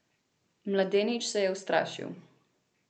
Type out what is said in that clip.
Mladenič se je ustrašil.